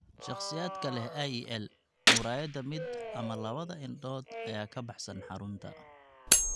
Shakhsiyaadka leh IEL, muraayada mid ama labada indhood ayaa ka baxsan xarunta.